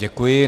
Děkuji.